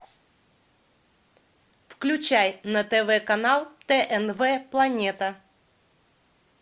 включай на тв канал тнв планета